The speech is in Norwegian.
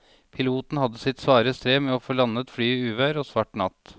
Piloten hadde sitt svare strev med å få landet flyet i uvær og svart natt.